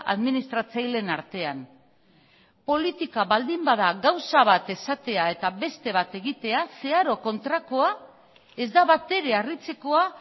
administratzaileen artean politika baldin bada gauza bat esatea eta beste bat egitea zeharo kontrakoa ez da batere harritzekoa